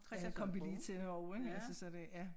Cristian kom vi lige til også ik altså så det ja